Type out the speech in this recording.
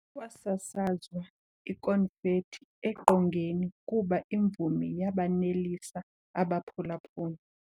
Kwasasazwa ikonfethi eqongeni kuba imvumi yabanelisa abaphulaphuli.